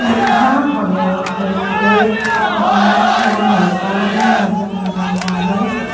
यहां हमें एक रेत का बड़ा सा मैदान नजर आ रहा है।